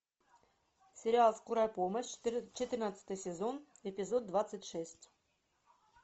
сериал скорая помощь четырнадцатый сезон эпизод двадцать шесть